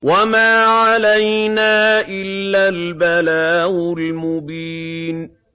وَمَا عَلَيْنَا إِلَّا الْبَلَاغُ الْمُبِينُ